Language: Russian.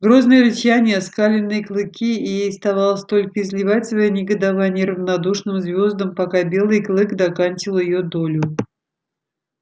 грозное рычание оскаленные клыки и ей оставалось только изливать своё негодование равнодушным звёздам пока белый клык доканчивал её долю